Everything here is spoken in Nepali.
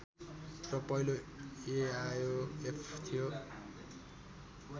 र पहिलो एआयोएफ थियो